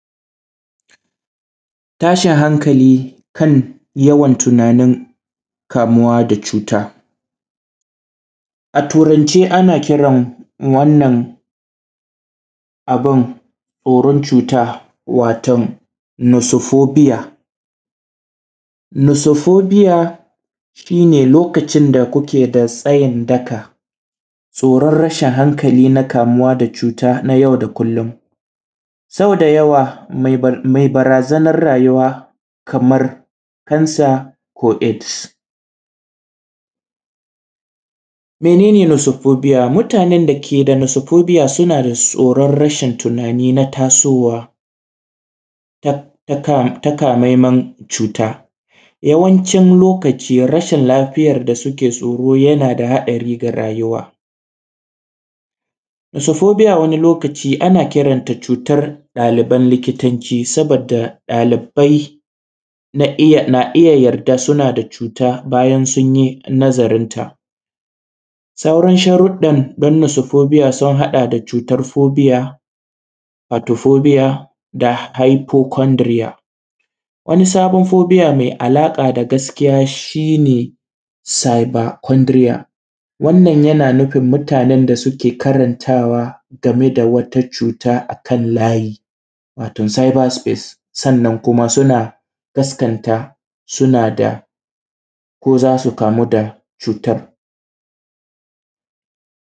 Tashin hankali kan tunanin yawan kamuwa da cuta, a turance ana kiran wannan irin cuta watom nasafobiya, nasafobiya shine lokacin da kuke da tsayin daka tsoron rashin hankali na kamuwa da cuta na yau da kullum. Sau da yawa mai barazanar rayuwa kamar kansa ko. Mene ne nasofobiya mutanen da keda nasofobiya su nada tsoron rashin tunani na tasowa takamammen cuta, yawancin lokaci rashin lafiyar da suke tsoro yana da haɗari ga rayuwa. Nasafobiya wani lokaci ana kiranta da cutar ɗaliban likitanci sabadda ɗalibai na iyya yarda suna da cuta bayan nazarin ta sauran sharuɗɗan na nasofobiya sun haɗa da cutar fobiya da haifokondiriyabon. Wani sabon fobiya mai alaƙa da gaskiya shine sibakondiya wannan yana nufun mutanen da suke karantawa game da wata cuta akan layi, wato siba sifas sannan kuma suna gasgata suna da ko zasu kamu da cutar.